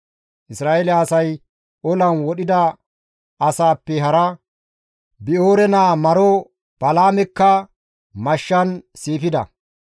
Isra7eele asay olan wodhida asaappe hara, Bi7oore naa maro Balaamekka mashshan siifida.